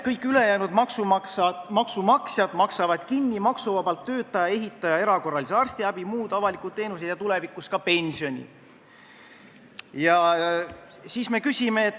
Kõik ülejäänud maksumaksjad maksavad ju kinni maksuvabalt töötava ehitaja erakorralise arstiabi, muud avalikud teenused ja tulevikus ka pensioni.